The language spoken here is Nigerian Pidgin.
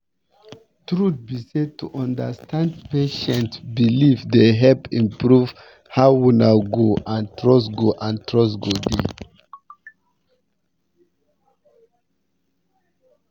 truth be say to understand patient beliefs dey help improve how una go and trust go and trust go dey